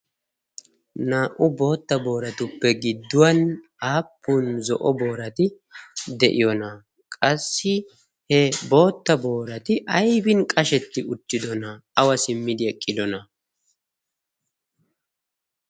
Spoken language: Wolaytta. Naa'u boottuppe giduwan appun zo'o booraati deiyona? Qassi ee bootta booratti aybine qashsheti uttidona? Awa simmi eqqidona?